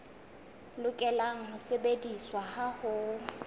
lokela ho sebediswa ha ho